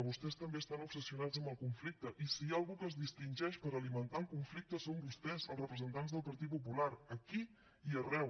vostès també estan obsessionats amb el conflicte i si hi ha algú que es distingeix per alimentar el conflicte són vostès els representants del partit popular aquí i arreu